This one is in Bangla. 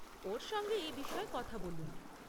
ওর সঙ্গে এই বিষয়ে কথা বলুন।